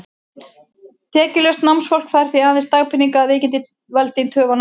Tekjulaust námsfólk fær því aðeins dagpeninga, að veikindin valdi töf á námi.